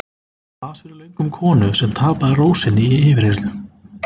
Las fyrir löngu um konu sem tapaði ró sinni í yfirheyrslu.